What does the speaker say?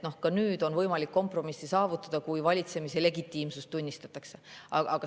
Ka nüüd on võimalik kompromissi saavutada, kui valitsemise legitiimsust tunnistatakse.